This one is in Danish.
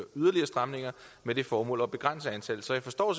yderligere stramninger med det formål at begrænse antallet så jeg forstår